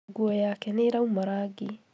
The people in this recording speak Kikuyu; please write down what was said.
Nguo yake nĩĩrauma rangi